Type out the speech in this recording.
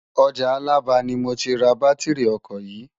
Òjá Alaba ni mó ti rá bàtirí òkò yi